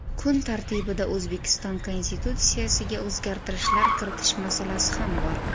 Kun tartibida O‘zbekiston Konstitutsiyasiga o‘zgartirishlar kiritish masalasi ham bor.